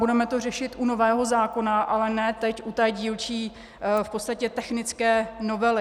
Budeme to řešit u nového zákona, ale ne teď u té dílčí, v podstatě technické novely.